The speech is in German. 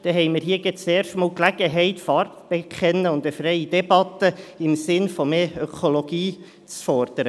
So haben wir das erste Mal die Gelegenheit, Farbe zu bekennen und eine freie Debatte im Sinne von mehr Ökologie zu fordern.